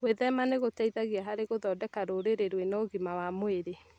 Gwĩthema nĩ gũteithagia harĩ gũthondeka rũrĩrĩ rwĩna ũgima wa mwĩrĩ